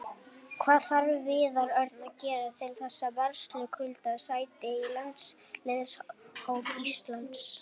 Hvað þarf Viðar Örn að gera til þess að verðskulda sæti í landsliðshóp Íslands?